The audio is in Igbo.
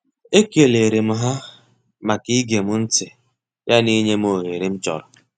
E kelerem ha maka igem ntị ya na inyem oghere m chọrọ.